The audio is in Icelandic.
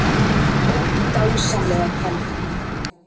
Ó, dásamlega kvenþjóð!